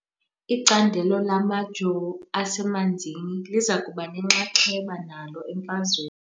Icandelo lamajoo asemanzini liza kuba nenxaxheba nalo emfazweni .